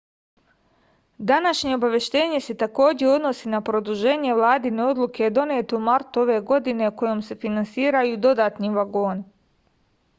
današnje obaveštenje se takođe odnosi na produženje vladine odluke donete u martu ove godine kojom se finansiraju dodatni vagoni